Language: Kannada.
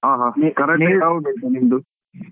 ಹಾ ಹಾ Karate ಅಲ್ಲಿ ಯಾವ್ belt ನಿಂದು?